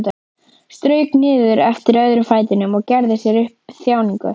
Strauk niður eftir öðrum fætinum og gerði sér upp þjáningu.